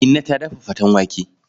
Inna ta daf faten wake.